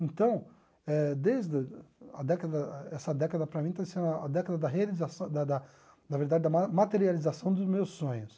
Então, eh desde a década essa década para mim está sendo a década realização da da na verdade da ma materialização dos meus sonhos.